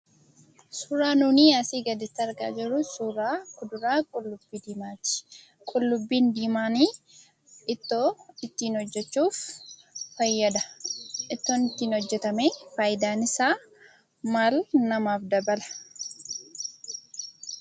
Suuraan nuunii asii gaditti argaa jirruu, suuraa kuduraa qullubbii diimaati. Qullubbii diimaanii ittoo ittiin hojjachuuf fayyada. Ittoon ittiin hojjatamee fayidaa isaa maal namaaf dabala?